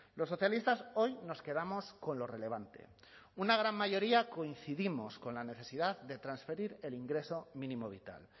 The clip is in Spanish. los socialistas hoy nos quedamos con lo relevante una gran mayoría coincidimos con la necesidad de transferir el ingreso mínimo vital